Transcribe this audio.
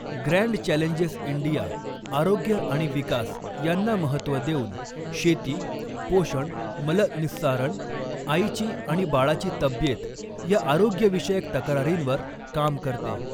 grand challenges India आरोग्य आणि विकास यांना महत्त्व देऊन शेती, पोषण, मलःनिस्सारण, आईची आणि बाळाची तब्येत या आरोग्यविषयक तक्रारींवर काम करते